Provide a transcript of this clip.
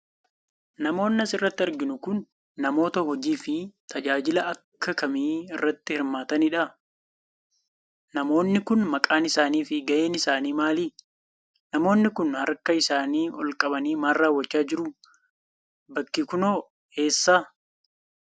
Namoonni as irratti arginu kun, namoota hojii fi tajaajila akka kamii irratti hirmaataniidha? Namoonni kun, maqaan isaanii fi gaheen isaanii maali? Namoonni kun, harka isaanii ol qabanii maal raawwachaa jiru? Bakki kun hoo ,eessadha?